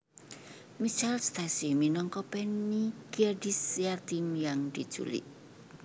Michelle Stacy minangka Penny gadis yatim yang diculik